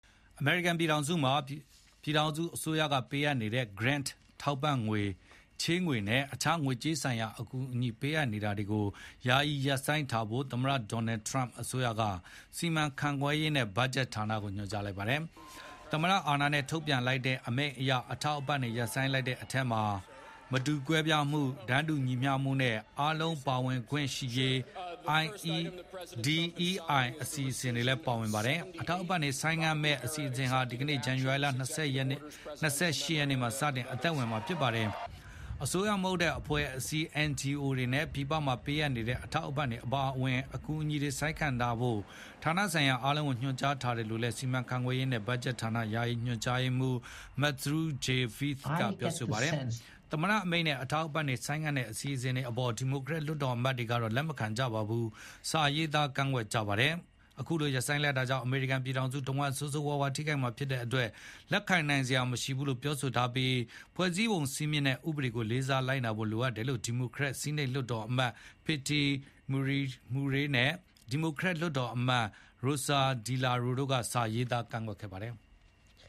အမေရိကန်ပြည်ထောင်စုမှာ ပြည်ထောင်စုအစိုးရက ပေးအပ်နေတဲ့ Grant ထောက်ပံ့ငွေ၊ ချေးငွေနဲ့ အခြား ငွေကြေးဆိုင်ရာ အကူအညီပေးအပ်နေတာတွေကို ယာယီရပ်ဆိုင်းထားဖို့ သမ္မတ Donald Trump အစိုးရက စီမံခန့်ခွဲရေးနဲ့ ဘတ်ဂျက်ဌာနကို ညွှန်ကြားလိုက်ပါတယ်။ သမ္မတအာဏာနဲ့ ထုတ်ပြန်လိုက်တဲ့အမိန့်အရ အထောက်အပံ့တွေ ရပ်ဆိုင်းလိုက်တဲ့အထဲမှာ မတူကွဲပြားမှု၊ တန်းတူညီမျှမှုနဲ့ အားလုံးပါဝင်ခွင့်ရှိရေး DEI အစီအစဉ်တွေလည်းပါဝင်ပါတယ်။ အထောက်အပံ့တွေ ဆိုင်းငံ့မယ့်အစီအစဉ်ဟာ ဒီကနေ့ ဇန္နဝါရီလ ၂၈ ရက်နေ့မှာစတင်အသက်ဝင်မှာပါ။ အစိုးရမဟုတ်တဲ့ အဖွဲ့အစည်း NGOs တွေနဲ့ ပြည်ပမှာပေးအပ်နေတဲ့ အထောက်အပံ့တွေအပါအဝင် အကူအညီတွေ ဆိုင်းငံ့ထားဖို့ ဌာနဆိုင်ရာ အားလုံးကိုညွှန်ကြားထားတယ်လို့လည်း စီမံခန့်ခွဲရေးနဲ့ ဘတ်ဂျက်ဌာန ယာယီညွန်ကြားရေးမှူး Matthew J Vaeth ကပြောပါတယ်။ သမ္မတအမိန့်နဲ့ အထောက်အပံ့တွေ ဆိုင်းငံ့တဲ့အစီအစဉ်အပေါ် ဒီမိုကရက်လွှတ်တော်အမတ်တွေ ကတော့ လက်မခံကြဘဲ စာရေးသား ကန့်ကွက်ကြပါတယ်။ အခုလိုရပ်ဆိုင်းလိုက်တာကြောင့် အမေရိကန်ပြည်ထောင်စုတဝှမ်း ဆိုးဆိုးဝါးဝါးထိခိုက်မှာဖြစ်တဲ့အတွက် လက်ခံနိုင်စရာမရှိဘူးလို့ ပြောထားပြီး ဖွဲ့စည်းပုံစည်းမျဉ်းနဲ့ ဥပေဒတွေကိုလေးစားလိုက်နာဖို့လိုတယ်လို့ ဒီမိုကရက်ဆီးနိတ် လွှတ်တော်အမတ် Patty Murray နဲ့ ဒီမိုကရက်အောက်လွှတ်တော်မတ် Rosa DeLauro တို့က စာရေးသားကန့်ကွက်ခဲ့ပါတယ်။